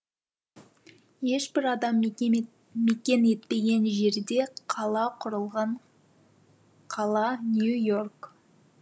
ешбір адам мекен етпеген жерде қала құрылған қала нью и орк